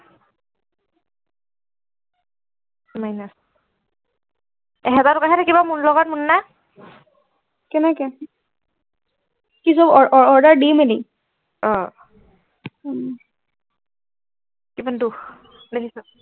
minus এক হেজাৰ কটা হে থাকিব মোৰ লগত মুন্না কেনেকে কি অ অ order দি মেলি অ উম ইমান দুখ লাগিছে